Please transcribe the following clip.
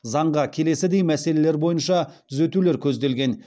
заңға келесідей мәселелер бойынша түзетулер көзделген